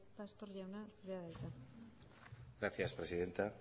pastor jauna zurea da hitza gracias presidenta